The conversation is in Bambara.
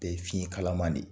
Bɛɛ ye fiɲɛ kalaman de